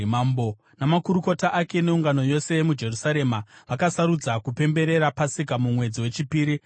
Mambo namakurukota ake neungano yose muJerusarema vakasarudza kupemberera Pasika mumwedzi wechipiri.